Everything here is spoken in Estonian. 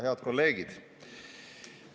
Head kolleegid!